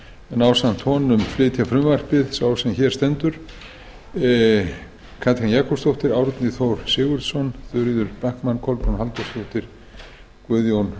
en ásamt honum flytja tillöguna sá sem hér stendur og háttvirtir þingmenn katrín jakobsdóttir árni þór sigurðsson þuríður backman kolbrún halldórsdóttir og guðjón